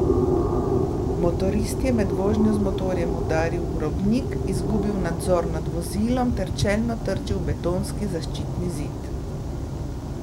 Motorist je med vožnjo z motorjem udaril v robnik, izgubil nadzor nad vozilom ter čelno trčil v betonski zaščitni zid.